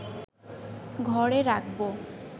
ঘরে রাখব